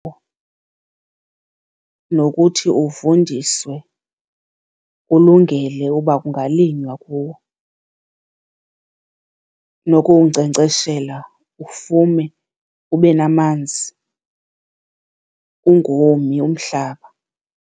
nokuthi uvundiswe ulungele uba kungalinywa kuwo nokuwunkcenkceshela ufume, ube namanzi, ungomi umhlaba.